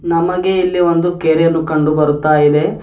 ನಮಗೆ ಇಲ್ಲಿ ಒಂದು ಕೆರೆಯನ್ನು ಕಂಡು ಬರುತ್ತಾ ಇದೆ.